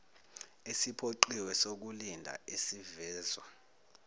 esiphoqiwe sokulinda esivezwa